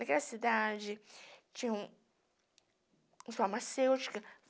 Naquela cidade tinha uns farmacêuticos.